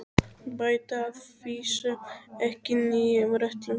Bæta að vísu ekki nýjum rullum við.